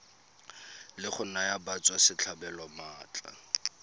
la go naya batswasetlhabelo maatla